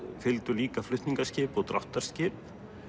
fylgdu líka flutningaskip og dráttarskip